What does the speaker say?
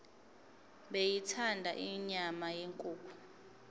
beyithanda inyama yenkukhu